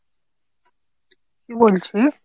কী বলছিস?